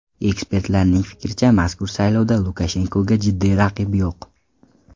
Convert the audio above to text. Ekspertlarning fikricha, mazkur saylovda Lukashenkoga jiddiy raqib yo‘q.